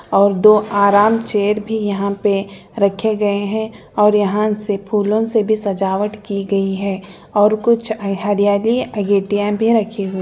और दो आराम चेयर भी यहाँ पे रखे गए हैं और यहाँ से फूलों से भी सजावट की गई है और कुछ हरियाली भी रखी --